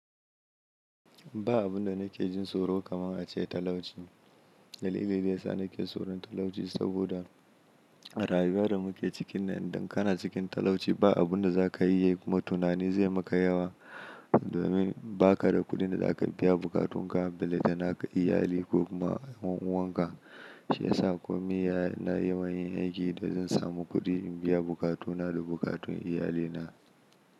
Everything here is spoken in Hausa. Ba abun da nake jin tsoro kaman a ce talauci. Dalilin da ya sa nake tsoron talauci saboda a rayuwar da muke cikinnan, in dan kana cikin talauci ba abun da za ka iya yi kuma tunani zai maka yawa. Domin ba ka da kuɗin da za ka biya buƙatun ka, ballantana ga iyali ko kuma ƴan uwaka. Shi ya sa komai wuya ina yi ma yin aiki da zan samu kuɗi in biya buƙatuna da buƙatun iyalina.